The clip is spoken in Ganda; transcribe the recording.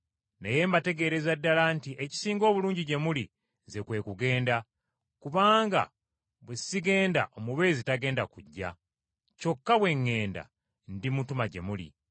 Naye mbategeereza ddala nti ekisinga obulungi gye muli Nze kwe kugenda. Kubanga bwe sigenda Omubeezi tagenda kujja, kyokka bwe ŋŋenda, ndimutuma gye muli.